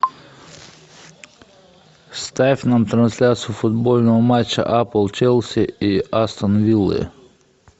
ставь нам трансляцию футбольного матча апл челси и астон виллы